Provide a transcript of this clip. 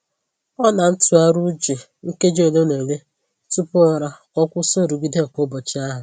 Ọ na-ntụgharị uche nkeji ole na ole tupu ụra ka o kwụsị nrụgide nke ụbọchị ahụ.